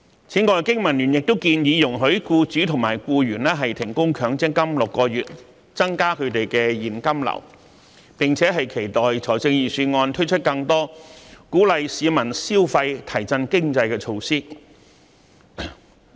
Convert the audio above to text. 此外，經民聯亦建議容許僱主及僱員停供強積金6個月，以增加他們的現金流，並期待預算案推出更多鼓勵市民消費及提振經濟的措施。